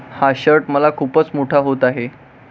हा शर्ट मला खूपच मोठा होत आहे.